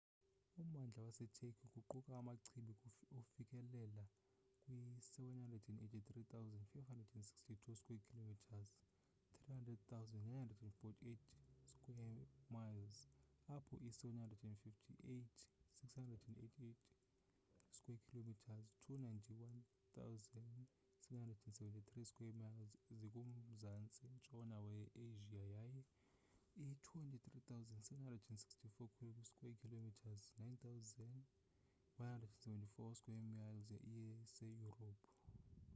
ummandla waseturkey kuquka amachibi ufikelela kwi-783,562 square kilometres 300,948 sq mi apho i-755,688 square kilometres 291,773 sq mi zikumzantsi ntshona we-asia yaye i-23,764 square kilometres 9,174 sq mi iseyurophu